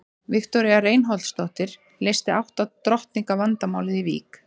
Viktoría Reinholdsdóttir leysti átta drottninga vandamálið í Vík.